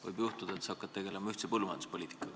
Võib juhtuda, et sa hakkad tegelema ühise põllumajanduspoliitikaga.